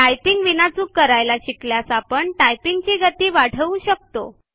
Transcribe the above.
typing विनाचूक करायला शिकल्यास आपण टायपिंग ची गती वाढवु शकतो